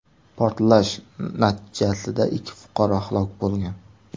Portlash natijasida ikki fuqaro halok bo‘lgan.